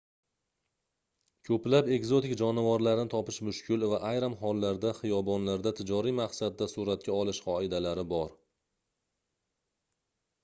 koʻplab ekzotik jonivorlarni topish mushkul va ayrim hollarda xiyobonlarda tijoriy maqsadda suratga olish qoidalari bor